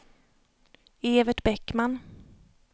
Evert Bäckman